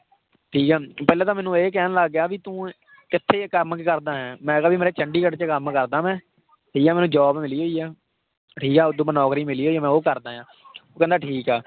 ਠੀਕ ਹੈ ਪਹਿਲਾਂ ਤਾਂ ਮੈਨੂੰ ਇਹ ਕਹਿਣ ਲੱਗ ਗਿਆ ਵੀ ਤੂੰ ਕਿੱਥੇ ਕੰਮ ਕਰਦਾ ਹੈ ਮੈਂ ਕਿਹਾ ਵੀ ਮੇਰਾ ਚੰਡੀਗੜ੍ਹ 'ਚ ਕੰਮ ਕਰਦਾਂ ਮੈਂ ਠੀਕ ਹੈ ਮੈਨੂੰ job ਮਿਲੀ ਹੋਈ ਆ, ਠੀਕ ਹੈ ਨੌਕਰੀ ਮਿਲੀ ਹੋਈ ਹੈ ਮੈਂ ਉਹ ਕਰਦਾਂ ਹੈ ਕਹਿੰਦਾ ਠੀਕ ਆ।